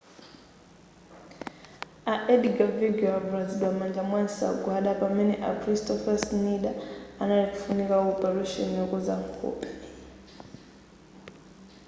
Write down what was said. a edgar veguilll avulazidwa m'manja ndi nsagwada pamene a kristoffer schneider anali kufunika opeleshoni yokonza nkhope